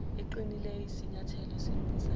eqinileyo iyisinyathelo esilungisayo